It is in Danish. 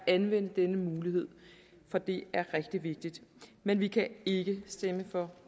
at anvende denne mulighed for det er rigtig vigtigt men vi kan ikke stemme for